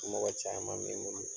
Mɔgɔ caman me ne bolo.